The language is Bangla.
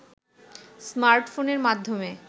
স্মার্টফোনের মাধ্যমে